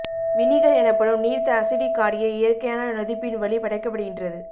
vinegar எனப்படும் நீர்த்த acetic காடியை இயற்கையான நொதிப்பின் வழி படைக்கப்படுகின்றது